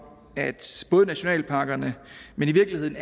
at både nationalparkerne men i virkeligheden